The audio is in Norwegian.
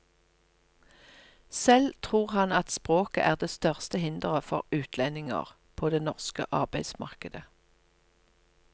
Selv tror han at språket er det største hindret for utlendinger, på det norske arbeidsmarkedet.